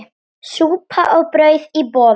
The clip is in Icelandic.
Súpa og brauð í boði.